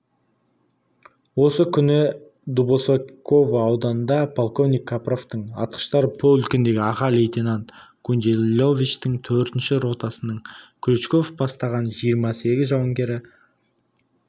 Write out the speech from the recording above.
осы күні дубосеково ауданында полковник капровтың атқыштар полкіндегі аға лейтенант гундиловичтің төртінші ротасының клочков бастаған жиырма сегіз жауынгері